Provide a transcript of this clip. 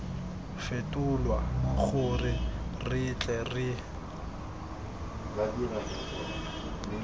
fetolwa gore re tle re